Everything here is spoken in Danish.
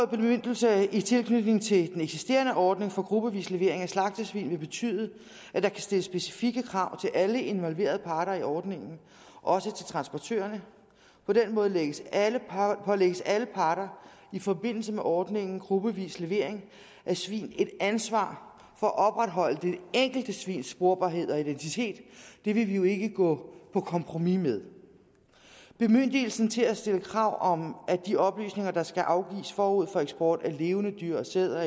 bemyndigelse i tilknytning til den eksisterende ordning for gruppevis levering af slagtesvin vil betyde at der kan stilles specifikke krav til alle involverede parter i ordningen også til transportørerne på den måde pålægges alle parter alle parter i forbindelse med ordningen gruppevis levering af svin et ansvar for at opretholde det enkelte svins sporbarhed og identitet det vil vi jo ikke gå på kompromis med bemyndigelsen til at stille krav om at de oplysninger der skal afgives forud for eksport af levende dyr sæd